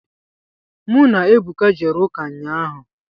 Mụ na Ebuka jere ụka ụnyaahụ.